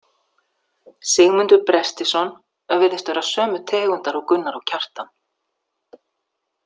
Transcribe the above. Sigmundur Brestisson virðist vera sömu tegundar og Gunnar og Kjartan.